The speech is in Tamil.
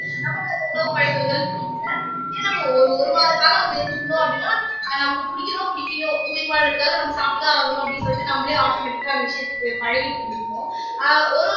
உணவு பழக்கங்கள் பிடிக்கல ஏன்னா நம்ம ஒரு ஒரு வார காலம் அங்க இருந்திருதோம் அப்படின்னா நமக்கு புடிக்கிதோ புடிக்களையோ உயிர் வாழ்றதுக்காக நம்ம சாப்பிட்டுதான் ஆகணும் அப்படின்னு சொல்லிட்டு நம்மளே automatic ஆ அந்த விஷயத்துக்கு பழகிட்டு இருந்துப்போம் அஹ் ஒரு